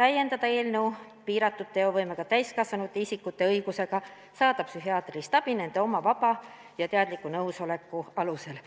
täiendada eelnõu ainult piiratud teovõimega täiskasvanud isikute õigusega saada psühhiaatrilist abi nende oma vaba ja teadliku nõusoleku alusel.